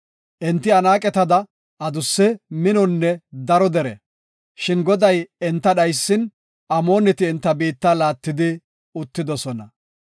Enti Anaaqetada adusse, minonne daro dere, shin Goday enta dhaysin, Amooneti enta biitta laattidi uttidosona.